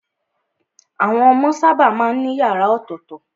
Àwọn ọmọ sábà má ń ní yàrá ọ̀tọ̀tọ̀.